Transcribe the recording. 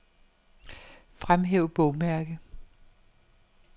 Fremhæv bogmærke.